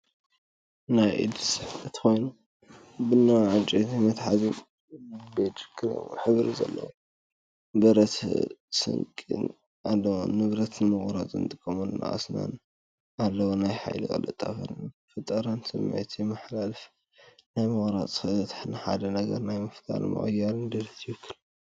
ናይ ኢድ ስሕለት ኮይኑ፡ ቡናዊ ዕንጨይቲ መትሓዚን ቢጅ/ክሬም ሕብሪ ዘለዎ ብረት ስንቂን ኣለዎ። ንብረት ንምቑራጽ ዝጥቀሙሉ ኣስናን ኣለዎ። ናይ ሓይሊ፣ ቅልጣፈን ፈጠራን ስምዒት የመሓላልፍ። ናይ ምቑራጽ ክእለት ንሓደ ነገር ናይ ምፍጣርን ምቕያርን ድሌት ይውክል።